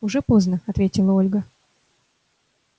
уже поздно ответила ольга